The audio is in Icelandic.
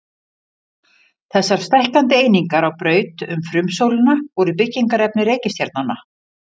Þessar stækkandi einingar á braut um frumsólina voru byggingarefni reikistjarnanna.